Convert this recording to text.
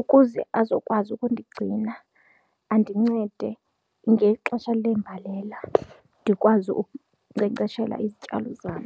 ukuze azokwazi ukundigcina andincede ngexesha leembalela ndikwazi ukunkcenkceshela izityalo zam.